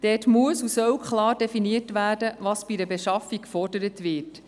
Darin muss und soll klar deklariert werden, was bei einer Beschaffung gefordert wird.